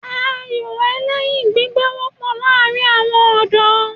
Ayò ẹlẹ́yin gbígbá wọ́pọ̀ láàrin àwọn ọ̀dọ́